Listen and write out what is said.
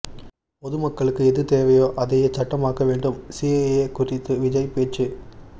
பொது மக்களுக்கு எது தேவையோ அதையே சட்டம் ஆக்க வேண்டும் சிஏஏ குறித்து விஜய் பேச்சு